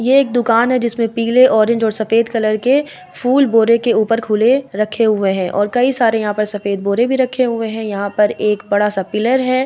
ये एक दुकान है जिसमें पीले ऑरेंज और सफेद कलर के फूल बोरे के ऊपर खुले रखे हुए हैं और कई सारे यहाँ पर सफेद बोरे भी रखे हुए हैं यहाँ पर एक बड़ा सा पिलर है।